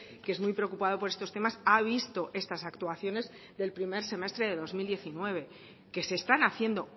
que es muy preocupado por estos temas ha visto estas actuaciones del primer semestre de dos mil diecinueve que se están haciendo